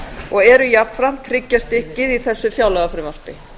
og eru jafnframt hryggjarstykkið í þessu fjárlagafrumvarpi